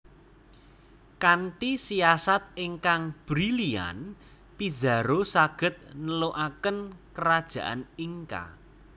Kanthi siasat ingkang brilian Pizarro saged nelukaken Kerajaan Inca